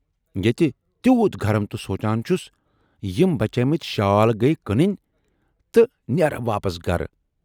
ییتہِ تِیوٗت گرم تہٕ سوٗنچان چھُس یِم بچے مٕتۍ شال گٔیۍ کٕننۍ تہٕ نیرٕ واپس گرٕ۔